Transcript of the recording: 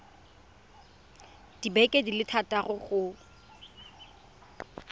dibeke di le thataro go